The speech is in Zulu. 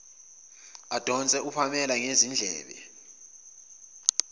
adonse upamela ngezindlebe